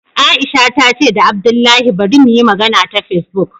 Aisha ta ce da abdullahi bari muyi magana ta Facebook